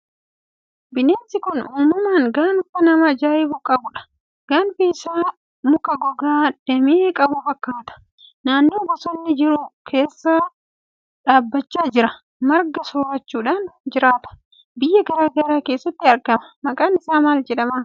Bineensi kun uumama gaanfa nama ajaa'ibu qabudha! Gaanfi isaa muka gogaa damee qabu fakkaata. Naannoo bosonni jiru keessa dhaabachaa jira. Marga soorachuudhaan jiraata. Biyya garaa garaa keessatti argama. Maqaan isaa maal jedhama?